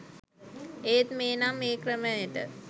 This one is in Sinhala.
ඒත් මේ නම් ඒ ක්‍රමයට